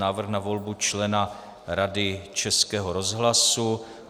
Návrh na volbu člena Rady Českého rozhlasu